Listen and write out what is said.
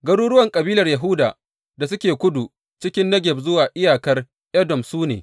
Garuruwan kabilar Yahuda da suke kudu cikin Negeb zuwa iyakar Edom su ne.